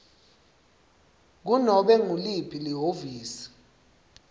kunobe nguliphi lihhovisi